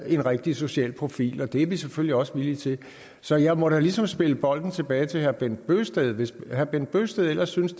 en rigtig social profil det er vi selvfølgelig også villige til så jeg må da ligesom spille bolden tilbage til herre bent bøgsted hvis herre bent bøgsted ellers synes